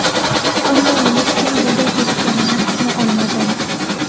Ammo nima uchun bunday qilishganini tushuna olmadim”.